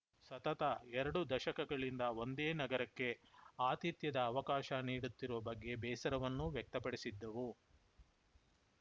ಸತತ ಎರಡು ದಶಕಗಳಿಂದ ಒಂದೇ ನಗರಕ್ಕೆ ಆತಿಥ್ಯದ ಅವಕಾಶ ನೀಡುತ್ತಿರುವ ಬಗ್ಗೆ ಬೇಸರವನ್ನೂ ವ್ಯಕ್ತಪಡಿಸಿದ್ದವು